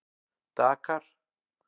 Dakar